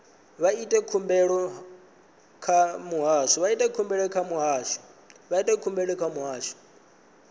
vha ite khumbelo kha muhasho